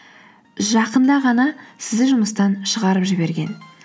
жақында ғана сізді жұмыстан шығарып жіберген